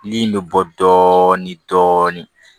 Ni bɛ bɔ dɔɔnin dɔɔnin